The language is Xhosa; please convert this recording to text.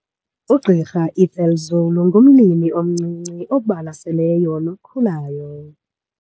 UGqr Ethel Zulu ngumlimi omncinci obalaseleyo nokhulayo.